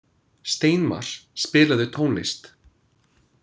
Steinmar, spilaðu tónlist.